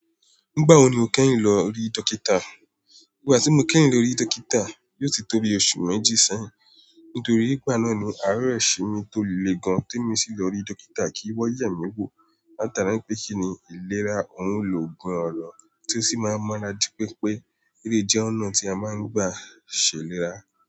"Nígbà wo ni o kẹ́yin lọ rí dókítà?" "Ìgbà tí mo kẹ́yin lọ rí dókítà, yóò ti tóbi oṣù méjì sẹ́yìn. Nítorí ìgbà náà ni àáre ṣe mi tó le gan-an tí mo sì lọ rí dókítà kí wọ́n yẹ mí wò. Wọ́n latara n pé kí ni ìlera ọ̀ún ló gun ọ̀rọ̀ tó sì máa mara jipé pé, èlèy jẹ́ ọ̀nà tí a máa ń gbà ṣèlérá.